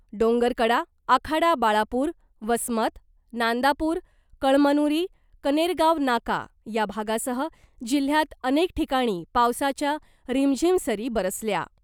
डोंगरकडा , आखाडा बाळापूर , वसमत , नांदापूर , कळमनुरी , कनेरगाव नाका या भागासह जिल्ह्यात अनेक ठिकाणी पावसाच्या रिमझिम सरी बरसल्या .